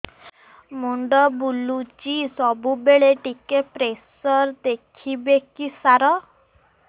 ମୁଣ୍ଡ ବୁଲୁଚି ସବୁବେଳେ ଟିକେ ପ୍ରେସର ଦେଖିବେ କି ସାର